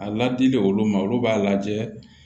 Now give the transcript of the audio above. A ladili olu ma olu b'a lajɛ